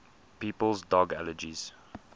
people's dog allergies